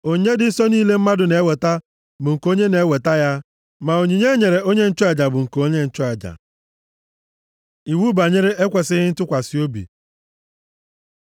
Onyinye dị nsọ niile mmadụ na-eweta bụ nke onye na-eweta ya, ma onyinye e nyere onye nchụaja bụ nke onye nchụaja.’ ” Iwu banyere ekwesighị ntụkwasị obi